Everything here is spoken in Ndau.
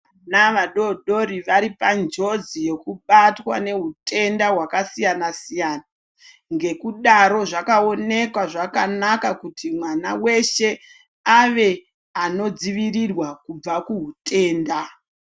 Navadodori varipa njozi yokubatwa newutenda wakasiyana siyana. Ngekudaro zvakawoneka zvakanaka kuti mwana weshe ave anodzivirirwa kubva kuwutenda.